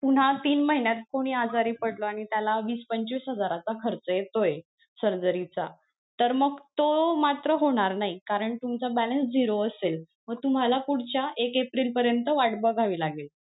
पुन्हा तीन महिन्यात कोणी आजारी पडलं आणि त्याला वीस पंचवीस हजाराचा खर्च येतोय surgery चा तर मग तो मात्र होणार नाही कारण तुमचा balance zero असेल तुम्हाला पुढच्या एक एप्रिल परियंत वाट बघावी लागेल.